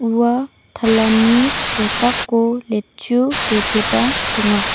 ua talani kosako letchu biteba donga.